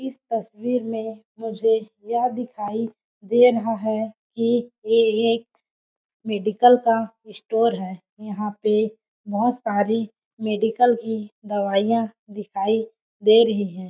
इस की तस्वीर में मुझे यह दिखाई दे रहा है कि ये एक मेडिकल का स्टोर है यहां पे बहुत सारी मेडिकल की दवाइयां दिखाई दे रही है।